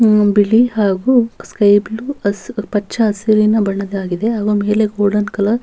ಹ್ಮ್ ಬಿಳಿ ಹಾಗೂ sky blue ಹಸ್ ಪಚ್ಚ ಹಸಿರಿನ ಬಣ್ಣದ್ದಾಗಿದೆ ಹಾಗೂ ಮೇಲೆ ಗೋಲ್ಡನ್ ಕಲರ್ --